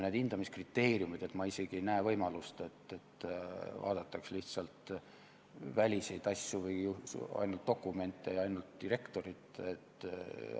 Ja hindamiskriteeriumid – ma isegi näe võimalust, et vaadatakse lihtsalt väliseid asju või ainult dokumente ja suheldakse ainult direktoriga.